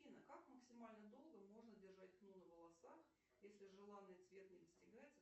афина как максимально долго можно держать хну на волосах если желанный цвет не достигается